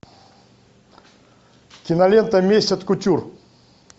кинолента месть от кутюр